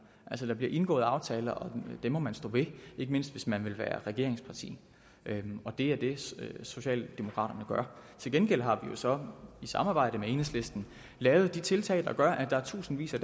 altså der bliver indgået aftaler og dem må man stå ved ikke mindst hvis man vil være regeringsparti og det er det socialdemokraterne gør til gengæld har vi jo så i samarbejde med enhedslisten lavet de tiltag der gør at tusindvis af